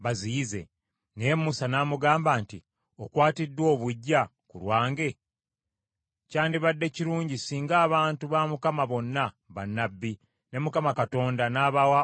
Naye Musa n’amugamba nti, “Okwatiddwa obuggya ku lwange? Kyandibadde kirungi singa abantu ba Mukama bonna bannabbi, ne Mukama Katonda n’abawa omwoyo gwe!”